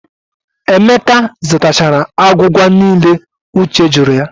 Emeka zatachara agwụgwa niile Uche jụrụ ya.